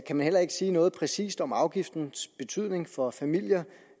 kan man heller ikke sige noget præcist om afgiftens betydning for familier